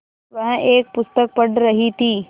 वह एक पुस्तक पढ़ रहीं थी